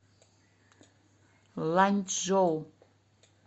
ланьчжоу